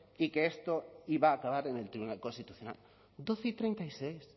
y que esto iba a acabar en el tribunal constitucional doce y treinta y seis